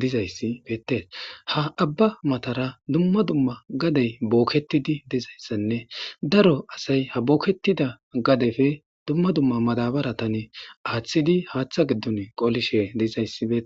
dizayssi beettes ha abba matara dumma dumma gadey bookketidi dizayssanne daro asay ha booketida gadefe dumma dumma madabaratane aaththidi haaththa giddun qolishe dezayssibe